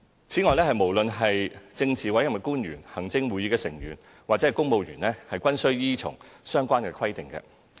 此外，無論是政治委任官員、行政會議成員或公務員，均需依從相關規定。